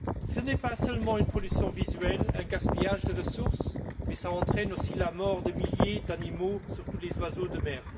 Ce n'est pas seulement une pollution visuelle, un gaspillage de ressources mais cela entraîne aussi la mort de milliers d'animaux, surtout les oiseaux de mer.